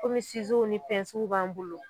ni b'an bolo.